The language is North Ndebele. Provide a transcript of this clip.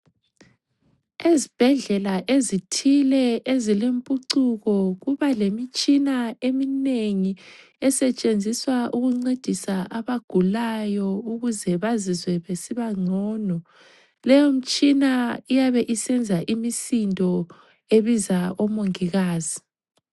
Ezibhedlela ezithile ezilempucuko kubalemitshina eminengi esetshenziswa ukuncedisa abagulayo ukuze bazizwe besiba ngcono. Leyo mtshina iyabe isenza imisindo ebiza omongikazi.